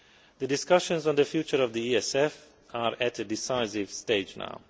The discussions on the future of the ESF are at a decisive stage now.